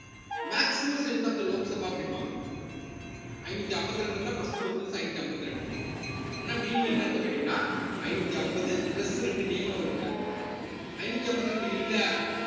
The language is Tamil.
maximum strength of the Lok Sabha அப்படிம்பாங்க ஐந்நூத்தி அம்பத்தி ரெண்டு இருந்தா first preference ஐந்நூத்தி அம்பத்திரண்டு அப்படின்னா meaning என்ன அர்த்தம்ன்னு கேட்டீங்கன்னா ஐந்நூத்தி அம்பது plus ரெண்டு நியமன உறுப்பினர் ஐந்நூத்தி அம்பத்தி ரெண்டு இல்ல